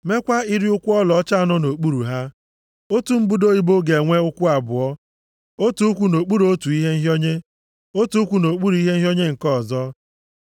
Meekwa iri ụkwụ ọlaọcha anọ nʼokpuru ha. Otu mbudo ibo ga-enwe ụkwụ abụọ, otu ụkwụ nʼokpuru otu ihe nhịọnye, otu ụkwụ nʼokpuru ihe nhịọnye nke ọzọ.